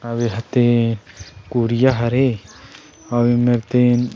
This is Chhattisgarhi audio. अऊ एहर तीन कुरिया हरे अऊ एमेर तीन --